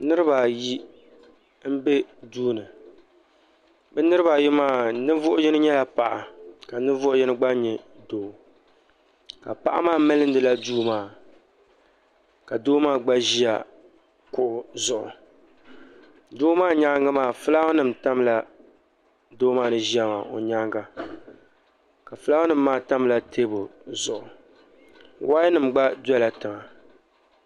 niraba ayi n bɛ duuni bi niraba ayi maa ninvuɣu yino nyɛla paɣa ka ninvuɣu yino gba nyɛ doo ka paɣa maa milindila duu maa ka doo maa gba ʒiya kuɣu zuɣu doo maa nyaangi maa fulaawa nim tamla doo maa ni ʒiya maa nyaanga ka fulaawa nim maa tamla teebuli zuɣu woya nim gba dɔla tiŋa